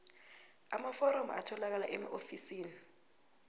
amaforomo atholakala emaofisini